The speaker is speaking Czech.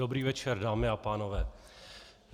Dobrý večer, dámy a pánové.